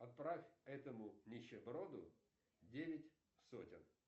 отправь этому нищеброду девять сотен